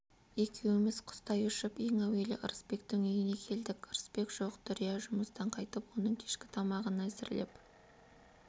екеуміз құстай ұшып ең әуелі ырысбектің үйіне келдік ырысбек жоқ дүрия жұмыстан қайтып оның кешкі тамағын әзірлеп